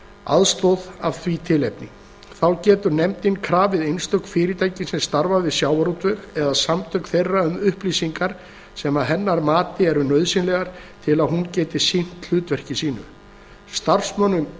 aðstoð af því tilefni þá getur nefndin krafið einstök fyrirtæki sem starfa við sjávarútveg eða samtök þeirra um upplýsingar sem að hennar mati eru nauðsynlegar til að hún geti sinnt hlutverki sínu starfsmönnum